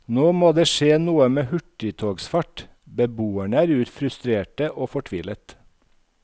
Nå må det skje noe med hurtigtogsfart, beboerne er frustrerte og fortvilet.